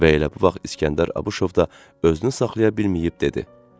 Və elə bu vaxt İsgəndər Abışov da özünü saxlaya bilməyib dedi: